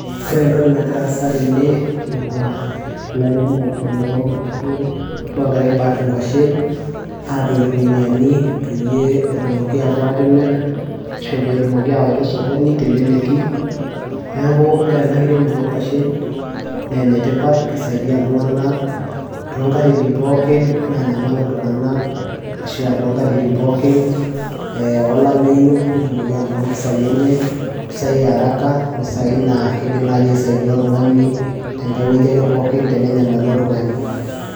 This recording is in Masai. ore entoki nagira aasa tene naa ilairemok lonkuashen logira ae pack inkuashen apik irkuniani peyie etumoki apuo atimirr ashu petumoki awaita osokoni teleleki neeku ore ena kiremore onkuashen naa enetipat kisaidia iltung'anak tonkatitin pookin nanyamal iltung'anak ashua tonkatitin pookin eh, olameyu netumoki anoto mpisai enye impisai earaka impisai naa kidim naaji aisaidia oltung'ani tenkae wueji ake pookin tenenyamalu oltung'ani.